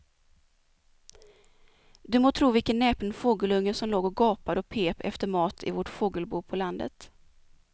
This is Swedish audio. Du må tro vilken näpen fågelunge som låg och gapade och pep efter mat i vårt fågelbo på landet.